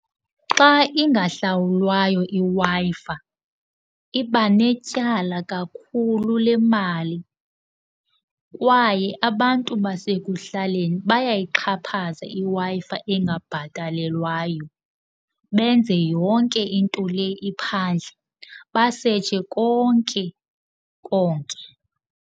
Xa ingahlawulwayo iWi-Fi iba netyala kakhulu lemali kwaye abantu basekuhlaleni bayayixhaphaza iWi-Fi engabhatelelwayo, benze yonke into le iphandle, basetshe konke konke.